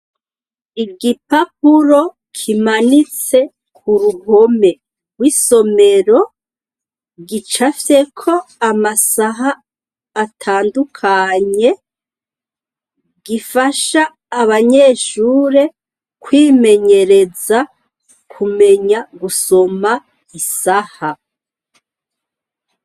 Igipapuro kimanitse ku ruhome rw'isomero gicafyeko amasaha atandukanye gifasha abanyeshure kwimenyereza kumenya gusoma isaha.